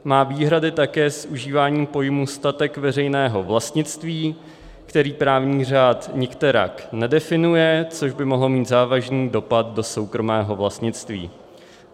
Má výhrady také s užíváním pojmů statek veřejného vlastnictví, který právní řád nikterak nedefinuje, což by mohlo mít závažný dopad do soukromého vlastnictví.